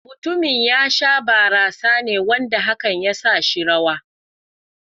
Mutumin ya sha barasa ne wanda hakan ya sa shi rawa.